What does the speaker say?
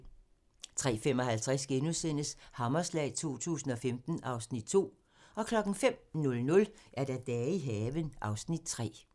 03:55: Hammerslag 2015 (Afs. 2)* 05:00: Dage i haven (Afs. 3)